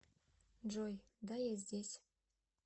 джой да я здесь